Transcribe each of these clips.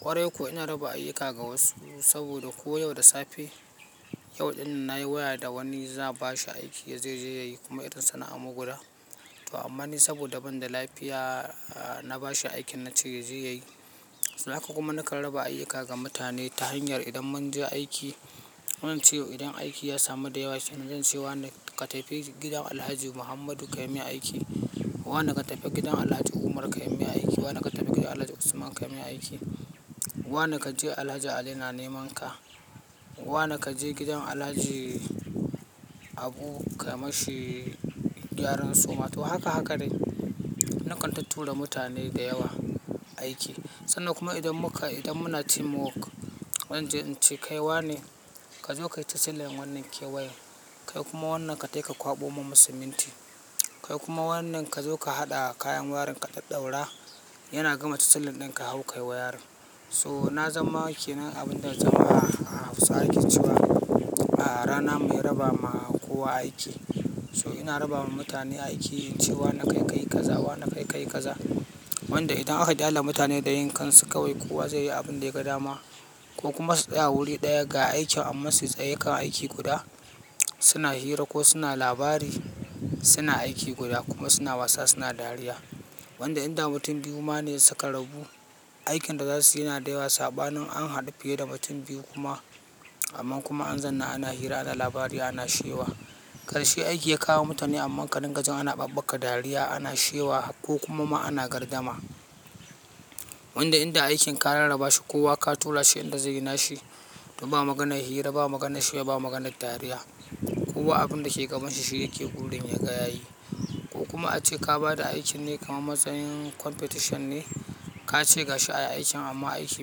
Kwarai kuwa ina raba ayyuka ga wasu saboda ko yau da safe, yau ɗinnan nayi waya da wani za'a ba shi aiki yaje ya yi kuma irin sana'ar mu guda. To amma ni saboda ban da lafiya na ba shi aikin na ce yaje ya yi. Haka kuma nakan raba ayyuka ga mutane ta hanyar idan mun je aiki. Ko ince idan aiki ya samu da yawa sannan, zance wa ne ka tafi gidan Alhaji Muhammadu ka yi mai aiki. Wa ne ka tafi gidan Alhaji Umar ka yi mai aiki. Wa ne ka tafi gidan Alhaji Usman ka yi min aiki. Wa ne ka je Alhaji Ali na neman ka. Wa ne ka je gidan Alhaji Abu kai ma shi gyaran suma. To haka haka dai. Na kan tuttura da mutane da yawa aiki sannan kuma idan muka, idan muna teamwork, zanje ince kai wa ne ka zo ka yi tasilan wannan kewayan. Kai kuma wannan ka tafi ka kwaɓo mun masinti. Kai kuma wannan ka zo ka haɗa kayan warin ka ɗauɗaura yana gama tasilin ɗin ka hau ka yi wayarin. So na zama kenan abun da na zan a hausawa ke cewa Rana mai raba ma kowa aiki. So ina raba ma mutane aiki ce wa ne kai ka yi kaza, wa ne kai ka yi kaza. Wanda idan aka ƙyale mutane da yinkan su kawai kowa zai yi abin da ya ga dama ko kuma su tsaya wuri ɗaya ga aikin amma su tsaya kan aiki guda suna hira ko suna labari, suna aiki guda kuma suna wasa suna dariya. Wanda inda mutum biyu ma ne suka rabu, aikin da za su yi yana da yawa saba nin an haɗu fiye da mutum biyu kuma. Amman kuma an zauna ana hira, ana labari, ana shewa. Karshe aiki ya kawo mutane amma ka dinga jin ana ɓabbaka dariya, ana shewa ko kuma ma ana gardama. Wanda inda aikin ka rarraba shi, kowa ka tura shi inda zai yi na shi. To ba maganar hira, ba maganar shewa, ba maganar dariya. Kowa abin da ke gaban shi, shi yake burin ya ga ya yi. Ko kuma ace ka ba da aikin ne kamar matsayin competition ne, ka ce ga shi a yi aikin amma aiki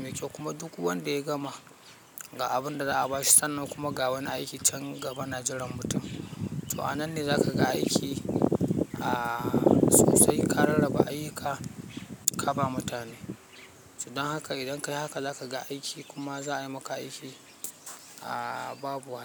mai kyau kuma duk wanda ya gama ga abin da za a ba shi sannan kuma ga wani aikin can gaba na jiran mutum. To a nan ne za ka ga aiki a sosai ka rarraba ayyuka, ka ba mutane. Don haka idan ka yi haka za ka ga aiki kuma za a yi maka aiki a babu wasa.